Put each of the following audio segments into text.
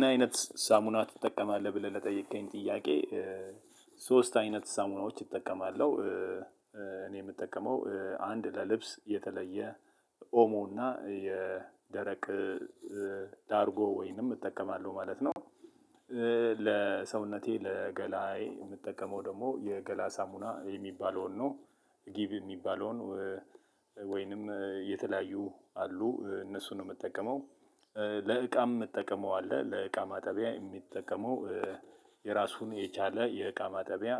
ምን አይነት ሳሙና ትጠቀማለህ ብለህ ለጠየከኝ ጥያቄ ሶስት አይነት ሳሙናዎች እጠቀማለሁ። እኔ የምጠቀመው አንድ ለልብስ የተለየ ኦሞ እና የደረቅ ላርጎ ወይንም እጠቀማለሁ ማለት ነው። ለሰውነቴ ለገላዬ የምጠቀመው ደግሞ የገላ ሳሙና የሚባለውን ነው ጊቭ የሚባለውን ወይንም የተለያዩ አሉ እነሱን ነው የምጠቀመው። ለዕቃም የምጠቀመው አለ ለእቃ ማጠቢያ የሚጠቀመው የራሱን የቻለ የእቃ ማጠቢያ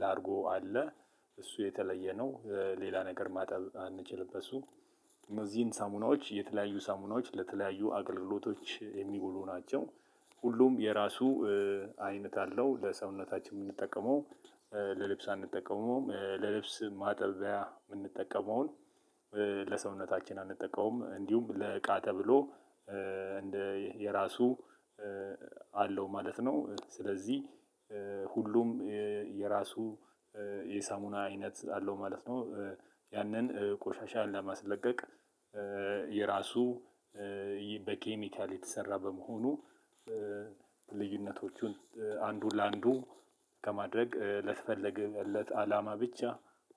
ላርጎ አለ። እሱ የተለየ ነው ሌላ ነገር ማጠብ አንችልም በሱ። እነዚህን ሳሙናዎች የተለያዩ ሳሙናዎች ለተለያየ አገልግሎት የሚውሉ ናቸው። ሁሉም የራሱ አይነት አለው ለሰውነታችን የምንጠቀመው ለልብስ አንጠቀመውም ለልብስ ማጠቢያ የምንጠቀመውን። ለሰውነታችን አንጠቀመውም እንዲሁም ለእቃ ተብሎ እንደ የራሱ አለው ማለት ነው። ስለዚህ ሁሉም የራሱ የሳሙና አይነት አለው ማለት ነው። ያንን ቆሻሻ ለማስለቀቅ የራሱ በኬሚካል የተሰራ በመሆኑ ልዩነቶቹን አንዱ ላንዱ ከማድረግ ለተፈለገለት አላማ ብቻ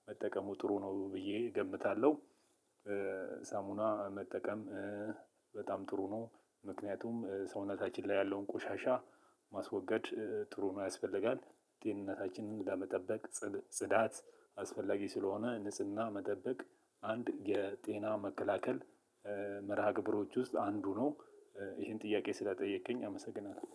መጠቀሙ ጥሩ ነው ብዬ እገምታለው። ሳሙና መጠቀም በጣም ጥሩ ነው። ምክንያቱም ሰውነታችን ላይ ያለውን ቆሻሻ ማስወገድ ጥሩ ነው ያስፈልጋል ጤንነታችንን ለመጠበቅ ጽዳት አስፈላጊ ስለሆነ ንጽህና መጠበቅ አንድ የጤና መከላከል መርሃ ግብሮች ውስጥ አንዱ ነው። ይሄን ጥያቄ ስለጠየከኝ አመሰግናለሁ።